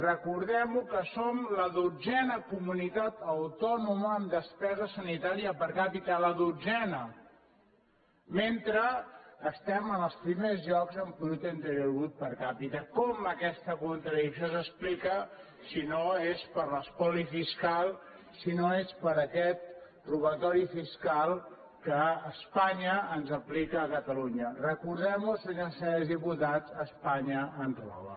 recordem que som la dotzena comunitat autònoma en despesa sanitària per capitaels primers llocs en producte interior brut per capitacom aquesta contradicció s’explica si no és per l’es·poli fiscal si no és per aquest robatori fiscal que espa·nya ens aplica a catalunya recordem·ho senyores i senyors diputats espanya ens roba